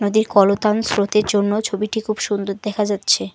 কলতান স্রোতের জন্য ছবিটি খুব সুন্দর দেখা যাচ্ছে।